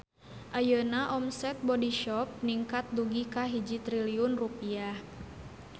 Ayeuna omset Bodyshop ningkat dugi ka 1 triliun rupiah